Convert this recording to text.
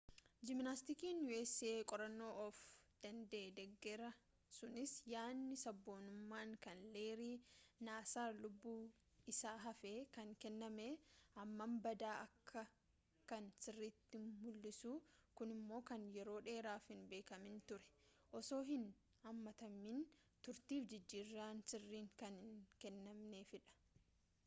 jiimnaastikiin usa qorannoo of danda'ee deggera sunis yaanni sabboonummaan kan leerii naasaar lubbun isa hafeen kan kenname hammam badaa akka kan sirriitti mul'isa kunimmo kan yeroo dheeraaf hin beekamin turee osoo hin haammatamin turefi jijjiirran sirriin kan hin kennamneefidha